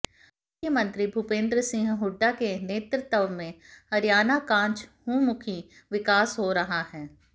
मुख्यमंत्री भूपेंद्र सिंह हुड्डा के नेतृत्व में हरियाणा काचहुंमुखी विकास हो रहा है